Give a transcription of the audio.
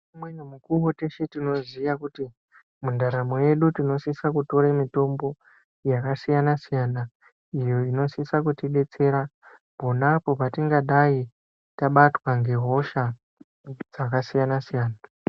Umweni mukuwo teshe tinoziva kuti mundaramo yedu tinosisa kutora mitombo yakasiyana siyana iyo inosisa kutidetsera pona apo patingadai tabatwa nehosha dzakasiyana-siyana.